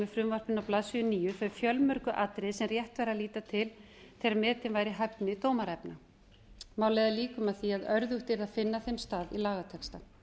frumvarpinu á blaðsíðu níu þau fjölmörgu atriði sem rétt væri að líta til þegar metin væri hæfni dómaraefna má leiða líkum að því að örðugt yrði að finna þeim stað í lagatexta